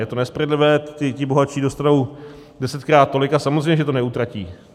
Je to nespravedlivé, ti bohatší dostanou desetkrát tolik a samozřejmě, že to neutratí.